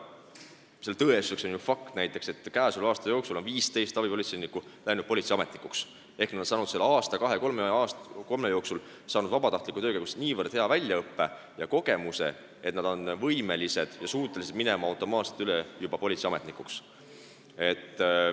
Selle tõestuseks on ju fakt, et käesoleva aasta jooksul on 15 abipolitseinikku läinud politseiametnikuks ehk nad on saanud aasta, kahe või kolme jooksul vabatahtliku tegevusega niivõrd hea väljaõppe ja kogemuse, et nad on võimelised minema politseiametnikuks.